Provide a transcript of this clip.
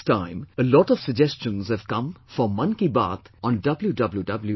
This time a lot of suggestions have come for Mann Ki Baat on www